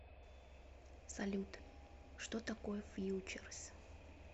салют что такое фьючерс